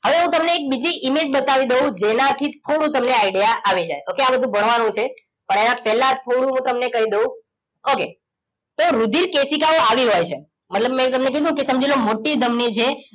હવે હું તમને એક બીજી એક ઇમેજ બતાવી દવ જેના થીથોડુક તમને આઇડિયા આવીજાય ઓકે આ બધું ભણવાનું છે પણ એના પેલા થોડું હું તમને કહી દવ ઓકે તો રુધિર કેશીકાઓ આવીહોય છે મતલબ મેં તમને કીધું કે સમજી લોકે મોટી ધમની છે